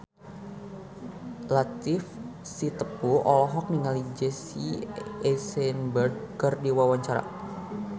Latief Sitepu olohok ningali Jesse Eisenberg keur diwawancara